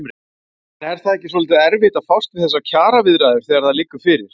Er ekki svolítið erfitt að fást við þessar kjaraviðræður þegar það liggur fyrir?